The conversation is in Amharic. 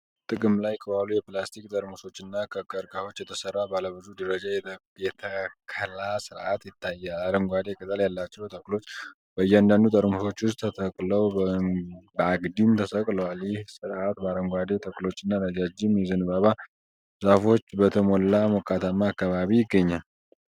ጥቅም ላይ ከዋሉ የፕላስቲክ ጠርሙሶችና ከቀርከሃዎች የተሰራ ባለ ብዙ ደረጃ ተከላ ስርዓት ይታያል። አረንጓዴ ቅጠል ያላቸው ተክሎች በእያንዳንዱ ጠርሙስ ውስጥ ተተክለው በአግድም ተሰቅለዋል። ይህ ስርዓት በአረንጓዴ ተክሎችና ረዣዥም የዘንባባ ዛፎች በተሞላ ሞቃታማ አካባቢ ይገኛል።